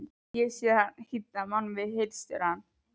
Ég hef séð mann hýddan að boði hirðstjórans.